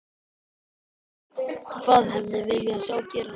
Sólveig: Hvað hefði viljað sjá gerast?